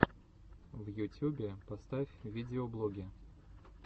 в ютюбе поставь видеоблоги